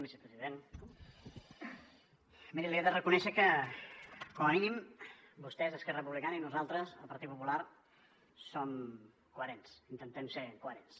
vicepresident miri li he de reconèixer que com a mínim vostès esquerra republicana i nosaltres el partit popular som coherents intentem ser coherents